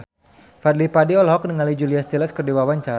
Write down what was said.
Fadly Padi olohok ningali Julia Stiles keur diwawancara